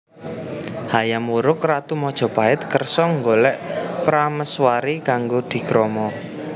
Hayam Wuruk ratu Majapahit kersa nggolek prameswari kanggo dikrama